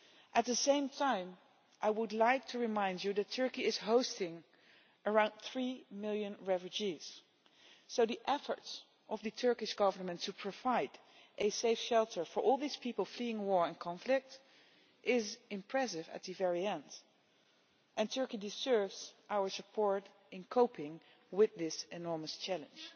At the same time, I would like to remind you that Turkey is hosting around 3 million refugees, so the efforts of the Turkish Government to provide a safe shelter for all these people fleeing war and conflict is impressive at the very end, and Turkey deserves our support in coping with this enormous challenge.